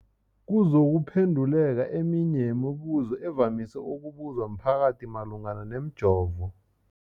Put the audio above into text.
kuzokuphe nduleka eminye yemibu zo evamise ukubuzwa mphakathi malungana nomjovo.